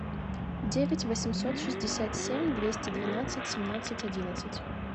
девять восемьсот шестьдесят семь двести двенадцать семнадцать одиннадцать